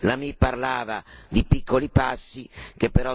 Tredici anni da Doha e nulla di fatto.